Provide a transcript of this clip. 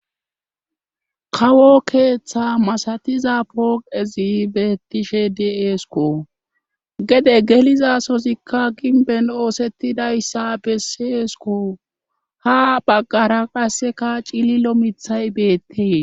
kawo keeththa masatiza pooqezi beettishe de7eesko gede gelizasozikka ginben oosettidayssa besseesko ha baggara qasseka cililo mithay beettee